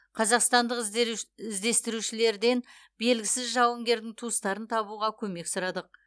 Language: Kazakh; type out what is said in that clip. қазақстандық іздестірушілерден белгісіз жауынгердің туыстарын табуға көмек сұрадық